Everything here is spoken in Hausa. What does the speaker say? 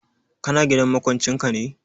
Ka na gidan maƙwancin ka ne?